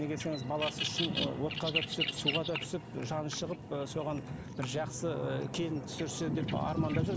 неге десеңіз баласы үшін ы отқа да түсіп суға да түсіп жаны шығып ы соған бір жақсы ыыы келін түсірсе деп армандап жүр